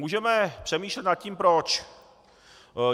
Můžeme přemýšlet nad tím proč.